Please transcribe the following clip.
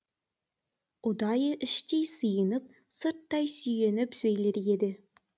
ұдайы іштей сиынып сырттай сүйеніп сөйлер еді